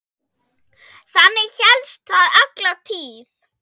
Þannig hélst það alla tíð.